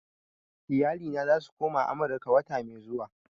Iyalina za su koma Akure wata mai zuwa